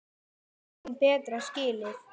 Við eigum betra skilið.